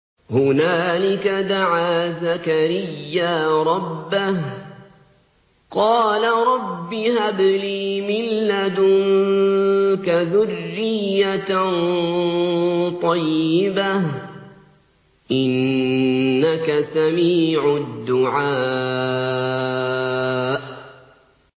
هُنَالِكَ دَعَا زَكَرِيَّا رَبَّهُ ۖ قَالَ رَبِّ هَبْ لِي مِن لَّدُنكَ ذُرِّيَّةً طَيِّبَةً ۖ إِنَّكَ سَمِيعُ الدُّعَاءِ